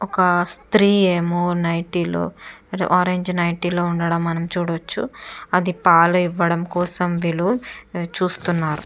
ఒక స్త్రీ ఏమో నైటీ లో ఆరెంజ్ నైటీ లో ఉండడం మనం చూడవచ్చు. అది పాలు ఎవ్వడం కోసం వీళ్ళు చూస్తున్నారు.